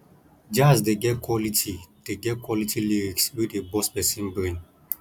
jazz dey get quality dey get quality lyrics wey dey burst person brain